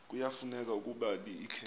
kuyafuneka ukuba ikhe